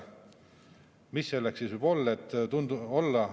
Mis selleks siis võib olla?